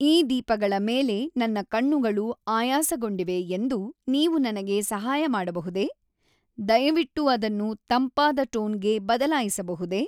ಈ ದೀಪಗಳ ಮೇಲೆ ನನ್ನ ಕಣ್ಣುಗಳು ಆಯಾಸಗೊಂಡಿವೆ ಎಂದು ನೀವು ನನಗೆ ಸಹಾಯ ಮಾಡಬಹುದೇ? ದಯವಿಟ್ಟು ಅದನ್ನು ತಂಪಾದ ಟೋನ್ಗೆ ಬದಲಾಯಿಸಬಹುದೇ